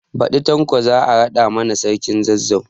Baɗi Tanko za a raɗa ma sarkin Zazzau